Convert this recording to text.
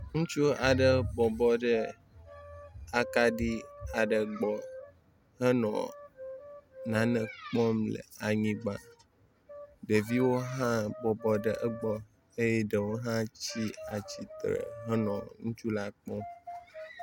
Ŋutsu aɖe bɔbɔ ɖe akaɖi aɖe gbɔ henɔ o nane kpɔm le anyigba. Ɖeviwo hã bɔbɔ ɖe egbɔ eye ɖewo hã tsi tsitre henɔ ŋutsu la kpɔm.